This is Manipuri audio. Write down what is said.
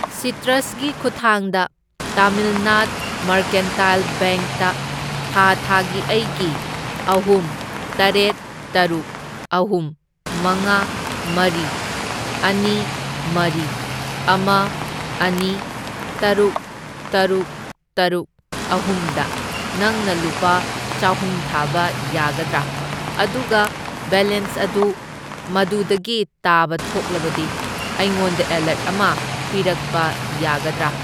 ꯁꯤꯇ꯭ꯔꯁ ꯒꯤ ꯈꯨꯊꯥꯡꯗ ꯇꯃꯤꯜꯅꯥꯗ ꯃꯔꯀꯦꯟꯇꯥꯏꯜ ꯕꯦꯡꯛ ꯇ ꯊꯥ ꯊꯥꯒꯤ ꯑꯩꯒꯤ ꯑꯍꯨꯝ, ꯇꯔꯦꯠ, ꯇꯔꯨꯛ, ꯑꯍꯨꯝ, ꯃꯉꯥ, ꯃꯔꯤ, ꯑꯅꯤ, ꯃꯔꯤ, ꯑꯃ, ꯑꯅꯤ, ꯇꯔꯨꯛ, ꯇꯔꯨꯛ, ꯇꯔꯨꯛ, ꯑꯍꯨꯝꯗ ꯅꯪꯅ ꯂꯨꯄꯥ ꯆꯍꯨꯝ ꯊꯥꯕ ꯌꯥꯒꯗ꯭ꯔꯥ? ꯑꯗꯨꯒ ꯕꯦꯂꯦꯟꯁ ꯑꯗꯨ ꯃꯗꯨꯗꯒꯤ ꯇꯥꯕ ꯊꯣꯛꯂꯕꯗꯤ ꯑꯩꯉꯣꯟꯗ ꯑꯦꯂꯔꯠ ꯑꯃ ꯄꯤꯔꯛꯄ ꯌꯥꯒꯗ꯭ꯔꯥ?